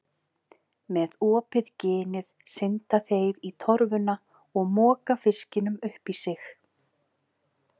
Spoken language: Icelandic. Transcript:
Með opið ginið synda þeir í torfuna og moka fiskinum upp í sig.